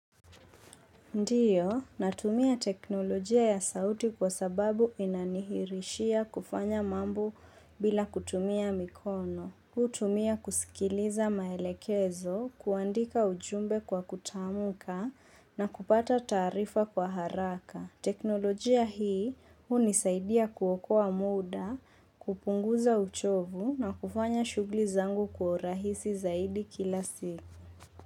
Ndiyo, natumia teknolojia ya sauti kwa sababu inanihirishia kufanya mambo bila kutumia mikono. Kutumia kusikiliza maelekezo, kuandika ujumbe kwa kutamka na kupata taarifa kwa haraka. Teknolojia hii hunisaidia kuokoa muda, kupunguza uchovu na kufanya shughui zangu kwa rahisi zaidi kila siku.